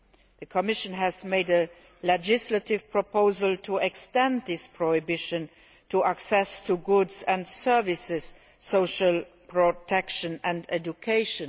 The Commission has made a legislative proposal to extend this prohibition to cover access to goods and services, social protection and education.